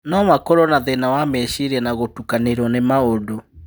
No makorwo na thĩna wa meciria na gũtukanĩrwo nĩ maũndũ.